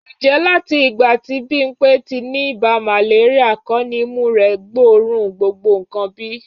Ǹjẹ́ láti ìgbà tí Bímpé ti ní ibà màléríà kọ́ ni imú rẹ gbóòórùn gbogbo nǹkan bí?